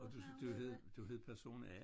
Og du du hed du hed person A